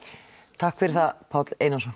takk fyrir það Páll Einarsson